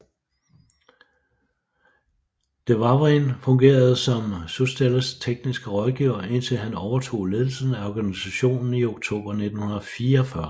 Dewavrin fungerede som Soustelles tekniske rådgiver indtil han overtog ledelsen af organisationen i oktober 1944